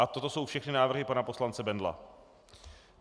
A toto jsou všechny návrhy pana poslance Bendla.